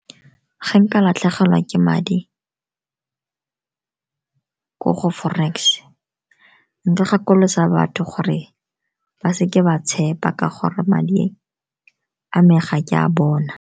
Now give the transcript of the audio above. Ga nka latlhegelwa ke madi ko go forex, nka gakolosa batho gore ba seke ba tshepa ka gore madi a me ga ke a bona.